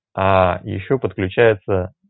аа ещё подключается